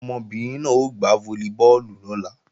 Ọmọbìnrin náà ó gbá fólíbọọ̀lù lọ́la